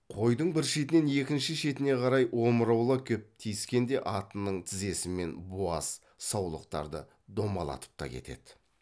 қойдың бір шетінен екінші шетіне қарай омыраулап кеп тиіскенде атының тізесімен буаз саулықтарды домалатып та кетеді